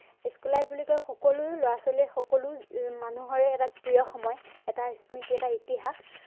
school life বুলি কলে সকলো লৰা ছোৱালীৰে সকলো মানুহৰে এটা প্ৰিয় সময় এটা স্মৃতি, এটা ইতিহাস